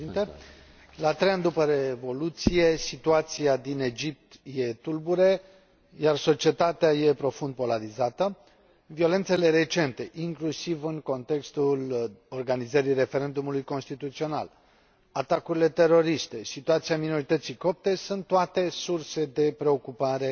Domnule președinte, la trei ani după revoluție, situația din Egipt e tulbure, iar societatea e profund polarizată. Violențele recente, inclusiv în contextul organizării referendumului constituțional, atacurile teroriste, situația minorității copte sunt toate surse de preocupare